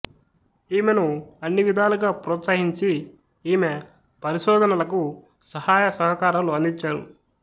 ఈమెను అన్ని విధాలుగా ప్రోత్సహించి ఈమె పరిశోధనలకు సహాయ సహకారాలు అందించారు